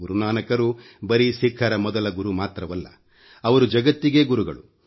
ಗುರು ನಾನಕ್ ರು ಬರೀ ಸಿಖ್ಖರ ಮೊದಲ ಗುರು ಮಾತ್ರವಲ್ಲ ಅವರು ಜಗತ್ತಿಗೇ ಗುರುಗಳು